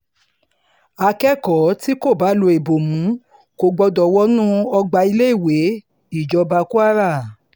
akẹ́kọ̀ọ́ tí kò bá lo ìbomú kò gbọdọ̀ wọnú ọgbà iléèwé -ìjọba kwara